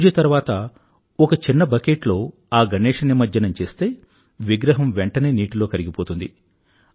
పూజ తర్వాత ఒక చిన్న బకెట్ లో ఆ గణేశ నిమజ్జనం చేస్తే విగ్రహం వెంటనే నీటిలో కరిగిపోతుంది